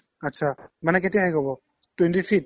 achcha মানে কেতিয়া শেষ হ'ব twenty-three ত